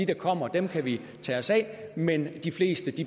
der kommer kan kan vi tage os af men at de fleste